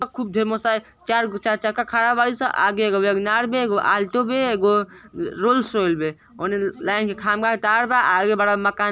अ खुब ढ़ेर मोट्साय। चार गो चार चक्का खाड़ा बाड़ी स। आगे एगो वैगनार बे एगो आल्टो बे एगो रोल्स रॉय बे। ओने ल्-लाइन के खाम्बा के तार बा। आगे बड़ा मकान --